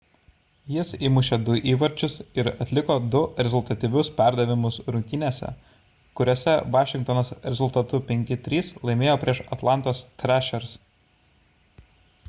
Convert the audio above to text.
jis įmušė 2 įvarčius ir atliko 2 rezultatyvius perdavimus rungtynėse kuriose vašingtonas rezultatu 5:3 laimėjo prieš atlantos thrashers